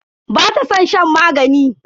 Bata san shan magani.